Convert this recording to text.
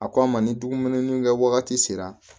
A k'a ma ni dumuni kɛ wagati sera